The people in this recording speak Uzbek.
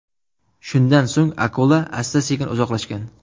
Shundan so‘ng akula sekin-asta uzoqlashgan.